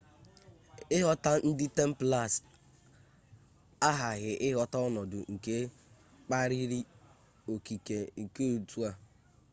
ịghọta ndị templars aghaghi ịghọta ọnọdụ nke kpaliri okike nke otu a